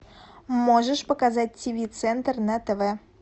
можешь показать тиви центр на тв